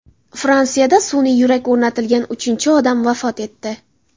Fransiyada sun’iy yurak o‘rnatilgan uchinchi odam vafot etdi.